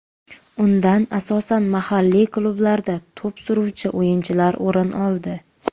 Undan asosan mahalliy klublarda to‘p suruvchi o‘yinchilar o‘rin oldi.